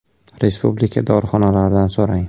Respublika dorixonalaridan s o‘ rang .